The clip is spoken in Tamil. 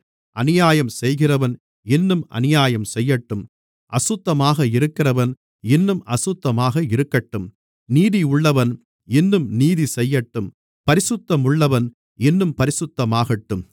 அநியாயம் செய்கிறவன் இன்னும் அநியாயம் செய்யட்டும் அசுத்தமாக இருக்கிறவன் இன்னும் அசுத்தமாக இருக்கட்டும் நீதியுள்ளவன் இன்னும் நீதிசெய்யட்டும் பரிசுத்தமுள்ளவன் இன்னும் பரிசுத்தமாகட்டும்